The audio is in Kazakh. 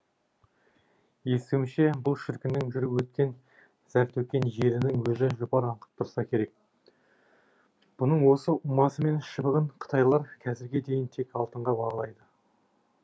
естуімше бұл шіркіннің жүріп өткен зәр төккен жерінің өзі жұпар аңқып тұрса керек бұның осы ұмасы мен шыбығын қытайлар қазірге дейін тек алтынға бағалайды